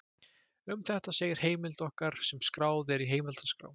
Um þetta segir í heimild okkar sem skráð er í heimildaskrá: